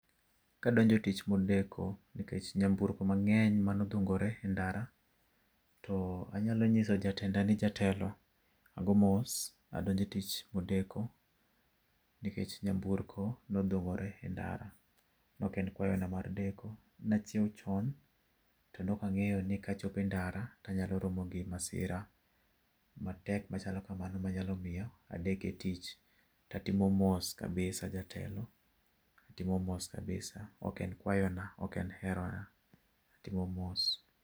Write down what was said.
Kadonjo tich modeko nikech nyamburko mang'eny mane odhungore endara to anyalo nyiso jatenda ni, jatelo, ago mos. Adonjo e tich modeko, nikech nyamburko ne odhungore e ndara. Ne ok en kwayona mar deko. Ne achiew chon, to ne ok angeyo ni kachopo e ndara to anyalo romo gi masira matek machalo kamano ma nyalo miyo adek e tich to atimo mos kabisa jatelo. Atimo mos kabisa. Ok en kwayona, ok en herona, atimo mos.